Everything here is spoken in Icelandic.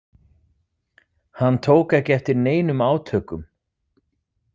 Hann tók ekki eftir neinum átökum.